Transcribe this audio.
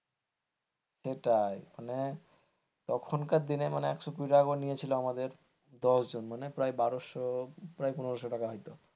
সেটাই মানে তখনকার দিনের মানে একশো কুড়ি করে নিয়েছিল আমাদের দশ জন মানে প্রায় বারোশো প্রায় পনেরো শো টাকা হয়তো।